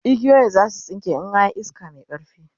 igiyoyin zasu tsinke in an Yi iska Mai ƙarfi